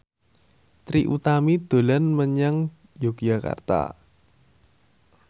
Trie Utami dolan menyang Yogyakarta